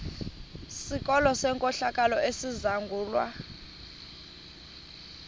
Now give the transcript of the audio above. sikolo senkohlakalo esizangulwa